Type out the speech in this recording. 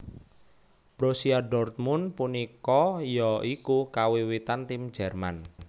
Borussia dortmund punika ya iku kawiwitan tim jerman